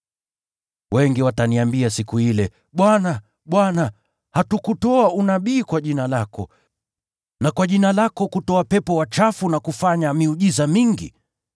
Wengi wataniambia siku ile, ‘Bwana, Bwana, hatukutoa unabii kwa jina lako, na kwa jina lako kutoa pepo wachafu na kufanya miujiza mingi?’